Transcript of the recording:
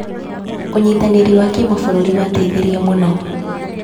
ũnyitanĩri wa kĩmabũrũri wateithirie mũno.